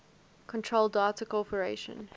control data corporation